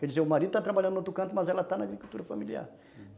Quer dizer, o marido está trabalhando no outro canto, mas ela está na agricultura familiar.